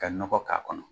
Ka nɔgɔ k'a kɔnɔ